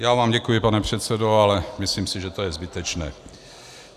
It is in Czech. Já vám děkuji, pane předsedo, ale myslím si, že to je zbytečné.